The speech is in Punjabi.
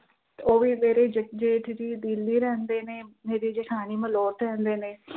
ਉਹ ਵੀ ਮੇਰੇ ਜੇ ਅਹ ਜੇਠ ਜੀ ਦਿੱਲੀ ਰਹਿੰਦੇ ਨੇ ਮੇਰੇ ਜਠਾਣੀ ਮਲੋਟ ਰਹਿੰਦੇ ਨੇ